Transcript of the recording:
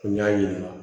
N y'a yɛlɛma